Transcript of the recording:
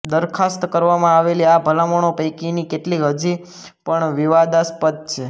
દરખાસ્ત કરવામાં આવેલી આ ભલામણો પૈકીની કેટલીક હજી પણ વિવાદાસ્પદ છે